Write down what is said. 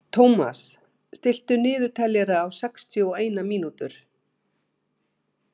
Thomas, stilltu niðurteljara á sextíu og eina mínútur.